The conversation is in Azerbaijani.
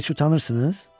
Heç utanırsınız?